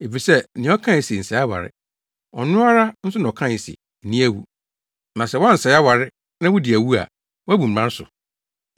Efisɛ nea ɔkae se, “Nsɛe aware” no, ɔno ara nso na ɔkae se, “Nni awu.” Na sɛ woansɛe aware na wudi awu a, woabu mmara so.